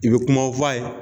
I bɛ kumaw fa ye.